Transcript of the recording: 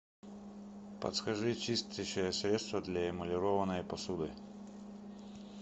подскажи чистящее средство для эмалированной посуды